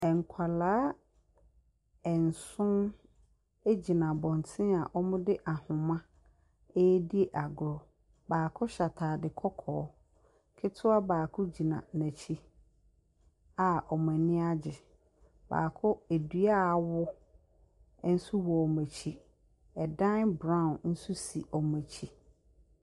Nkwadaa nso gyina abɔntene a wɔde ahoma redi agorɔ. Baako hyɛ atadeɛ kɔkɔɔ. Ketewa baako gyina n'akyi a wɔn ani agye. Baako, dua a awo nso wɔ wɔn akyi. Ɛdan brown nso si wɔn akyi.